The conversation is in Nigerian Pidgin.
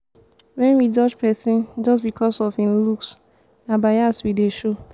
wen we judge pesin just becos of em looks na bias we dey show.